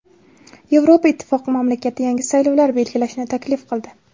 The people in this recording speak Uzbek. Yevropa Ittifoqi mamlakatda yangi saylovlar belgilashni taklif qildi.